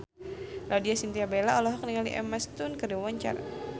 Laudya Chintya Bella olohok ningali Emma Stone keur diwawancara